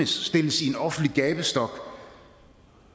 stilles i en offentlig gabestok